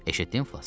Eşitdin, Flas?